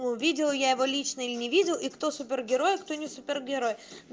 ну видел я его лично или не видел и кто супергерой а кто не супергерой